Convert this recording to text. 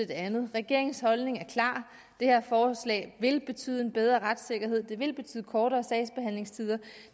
det andet regeringens holdning er klar det her forslag vil betyde en bedre retssikkerhed det vil betyde kortere sagsbehandlingstider og